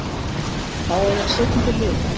Fáeinar sekúndur liðu.